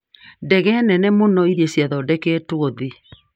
Ndege nene mũno iria cithondeketwe thĩĩ